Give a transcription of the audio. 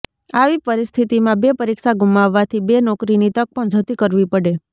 આવી પરિસ્થિતિમાં બે પરીક્ષા ગુમાવવાથી બે નોકરીની તક પણ જતી કરવી પડે